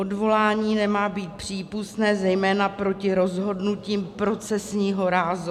Odvolání nemá být přípustné zejména proti rozhodnutím procesního rázu.